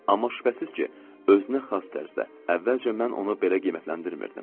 Amma şübhəsiz ki, özünə xas tərzdə əvvəlcə mən onu belə qiymətləndirmirdim.